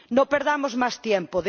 No perdamos más tiempo.